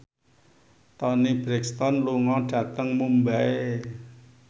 Toni Brexton lunga dhateng Mumbai